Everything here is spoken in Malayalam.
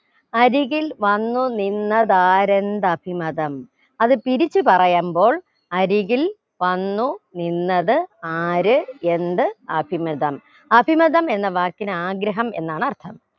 അരികിൽ വന്നു നിന്നത് ആരെന്ത് അസിമതം അത് തിരിച്ച് പറയുമ്പോൾ അരികിൽ വന്നു നിന്നത് ആര് എന്ത് അസിമതം അസിമതം എന്ന വാക്കിന് ആഗ്രഹം എന്നാണർത്ഥം